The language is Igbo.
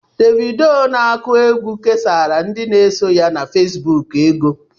Davidoo n'aku égwu kesara ndị n'eso ya na Fesbụụk ego.